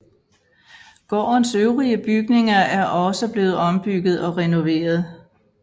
Gårdens øvrige bygninger er også blevet ombygget og renoveret